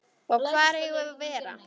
Og hvar eigum við að vera?